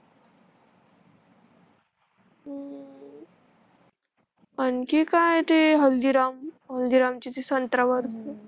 आणखी काय ते हल्दीराम, हल्दीराम मची ती संत्रा वरच